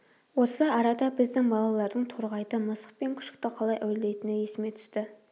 осы арада біздің балалардың торғайды мысық пен күшікті қалай әурелейтіні есіме түсті